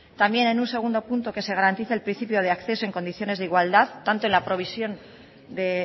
también en un segundo punto que se garantice el principio de acceso en condiciones de igualdad tanto en la provisión de